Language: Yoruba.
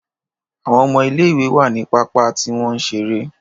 Àwọn ọmọ ilé ìwé wá nínú pápá tí wọ́n ń ṣeré.